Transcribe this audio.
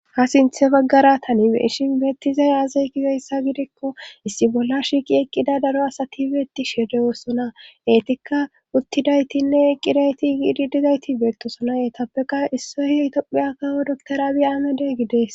Ha sinthe baggara tanibeeshin beettizay aazey gizeyssa gidikko issi bolla shiiqi eqqida daro asati beeti shede woossona eetikka uttidaytinne eqqidayti igiidi dizayti beettosona yeetappeqa issoy itophiya kawo doktorabi aamede gidees